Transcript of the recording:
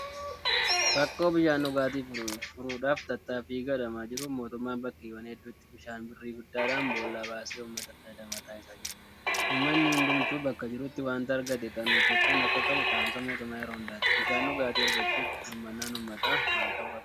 Rakkoo bishaan dhugaatii furuudhaaf tattaaffii gadhamaa jiruun mootummaan bakkeewwan hedduutti bishaan birrii guddaadhaan bool'aa baasee uummata fayyadamaa taasisaa jira. Uummanni hundumtuu bakka jirutti waanta argate kunuunfachuu akka qabu dhaamsa mootummaa yeroo hundaati. Bishaan dhugaatii argachuuf hirmaannaan uummataa maal ta'uu qaba?